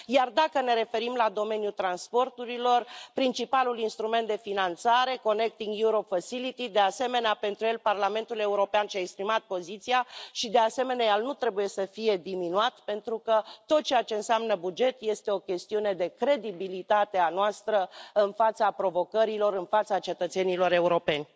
Iar, dacă ne referim la domeniul transporturilor, principalul instrument de finanțare, Mecanismul pentru interconectarea Europei, de asemenea, pentru el Parlamentul European și a exprimat poziția și, de asemenea, el nu trebuie să fie diminuat, pentru că tot ceea ce înseamnă buget este o chestiune de credibilitate a noastră în fața provocărilor, în fața cetățenilor europeni.